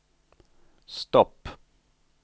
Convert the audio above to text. stopp